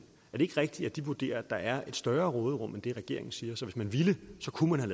det ikke rigtigt at de vurderer at der er et større råderum end det regeringen siger og at hvis man ville så kunne man